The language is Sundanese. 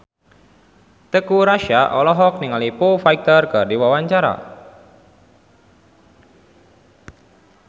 Teuku Rassya olohok ningali Foo Fighter keur diwawancara